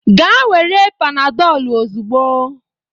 Gaa were Panadolu ozugbo!